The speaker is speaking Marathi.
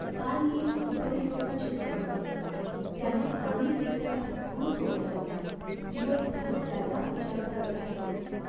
काल मी एक सुपरहिरोचा चित्रपट बघितला, त्यानं भावनिकरित्या थकवून सोडलं मला. दिवसभर त्याचाच विचार करत राहिलो मी.